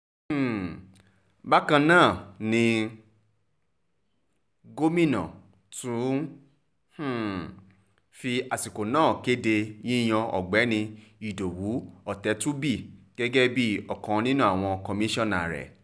um bákan náà ni gómìnà tún um fi àsìkò náà kéde yíyan ọ̀gbẹ́ni ìdòwú ọ̀tẹ̀tùbí gẹ́gẹ́ bíi ọ̀kan nínú àwọn kọmíṣánná rẹ̀